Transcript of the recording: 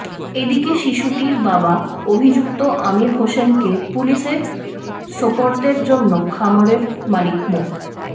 এদিকে শিশুটির বাবা অভিযুক্ত আমির হোসেনকে পুলিশে সোপর্দের জন্য খামারের মালিক মো